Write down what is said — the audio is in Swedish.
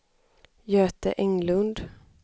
Göte Englund